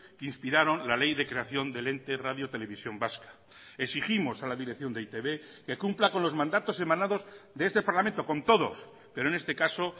que inspiraron la ley de creación del ente radio televisión vasca exigimos a la dirección de e i te be que cumpla con los mandatos emanados de este parlamento con todos pero en este caso